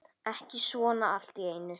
Ekki svona allt í einu.